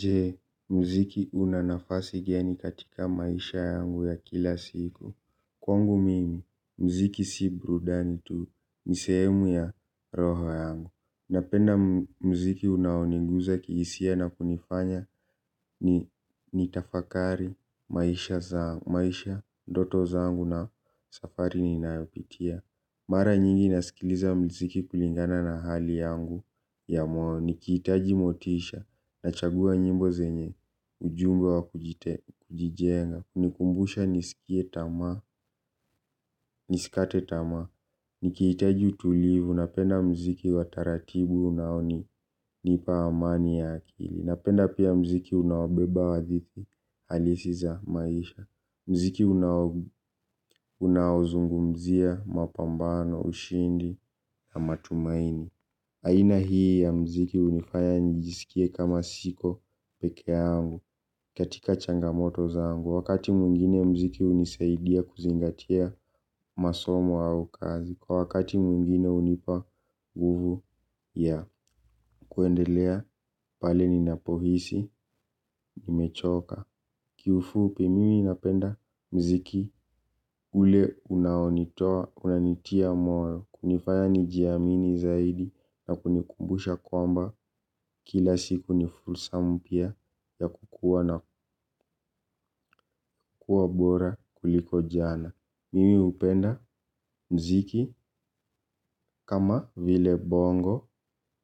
Je, mziki una nafasi gani katika maisha yangu ya kila siku. Kwangu mimi, mziki si burudani tu ni sehemu ya roho yangu. Napenda mziki unaoniguza kihisia na kunifanya nitafakari maisha ndoto zangu na safari ninayopitia. Mara nyingi nasikiliza mziki kulingana na hali yangu ya moyo. Nikihitaji motisha nachagua nyimbo zenye ujumbe wa kujijenga. Hunikumbusha nisikate tamaa. Nikihitaji utulivu. Napenda mziki wa taratibu unaonipa amani ya akili. Napenda pia mziki unaobeba hadithi halisi za maisha. Mziki unaozungumzia mapambano ushindi na matumaini. Aina hii ya mziki hunifaya nijisikie kama siko pekee yangu katika changamoto zangu. Wakati mwingine mziki hunisaidia kuzingatia masomo au kazi. Kwa wakati mwingine hunipa nguvu ya kuendelea pale ninapohisi, nimechoka. Kiufupi mimi napenda mziki ule unaonitoa, unanitia moyo. Kunifaya nijiamini zaidi na kunikumbusha kwamba kila siku ni fursa mpya ya kukuwa na kuwa bora kuliko jana. Mimi hupenda mziki kama vile bongo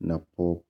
na pop.